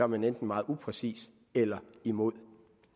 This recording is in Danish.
man enten meget upræcis eller imod